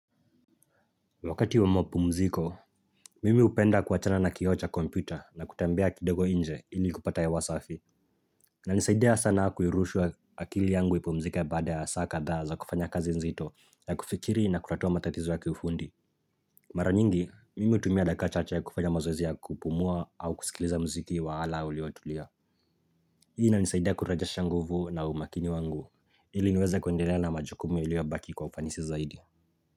Wakati wa mapumziko, mimi upenda kuachana na kioo cha kompyuta na kutembea kidogo nje ili kupata hewa safi inanisaidia sana kuirusha akili yangu ipumzike baada ya saa kadhaa za kufanya kazi nzito, ya kufikiri na kutatua matatizo ya kiufundi Mara nyingi, mimi hutumia dakika chache ya kufanya mazoezi ya kupumua au kusikiliza mziki wa ala uliotulia. Hii inanisaidia kurajesha nguvu na umaakini wangu ili niweze kundelea na majukumu iliyobaki kwa ufanisi zaidi.